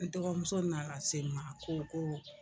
N dɔgɔmuso nana s'e ma ko ko